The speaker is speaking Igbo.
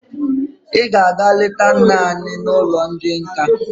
Ị ga-aga leta nna anyị n'ụlọ ndị nka!